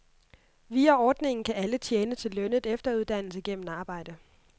Via ordningen kan alle tjene til lønnet efteruddannelse gennem arbejde.